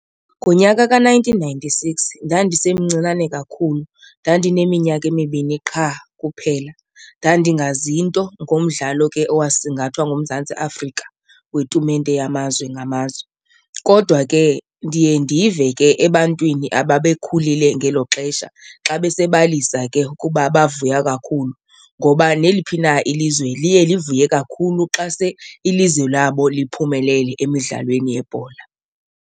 Ngonyaka ka-nineteen ninety-six ndandisemncinane kakhulu, ndandineminyaka emibini qha kuphela. Ndandingazi nto ngomdlalo ke owasingathwa nguMzantsi Afrika wetumente yamazwe ngamazwe kodwa ke ndiye ndive ke ebantwini ababekhulile ngelo xesha xa besebalisa ke ukuba bavuya kakhulu ngoba neliphi na ilizwe liye livuye kakhulu xa se ilizwe labo liphumelele emidlalweni yebhola.